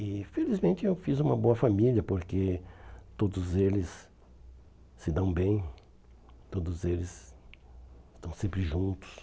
E felizmente eu fiz uma boa família, porque todos eles se dão bem, todos eles estão sempre juntos.